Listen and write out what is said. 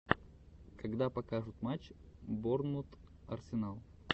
когда покажут матч борнмут арсенал